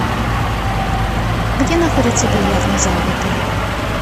где находится бильярдный зал в отеле